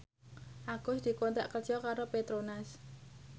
Agus dikontrak kerja karo Petronas